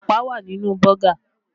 Ẹ̀pà wà nínú Bọ́gà